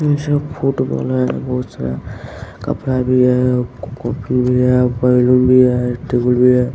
ये सब फुटबॉल है बहुत-सा कपड़ा भी है भी है बैलून भी है टेबुल भी है।